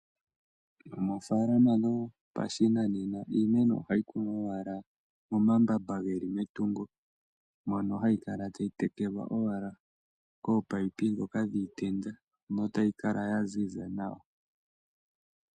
Moofaalama dhopashinanena iimeno ohayi kunwa owala momambamba ge li metungo, mono hayi kala tayi tekelwa owala koopaipi ndhoka dhiitenda notayi kala ya ziza nawa.